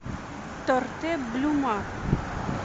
торте блюма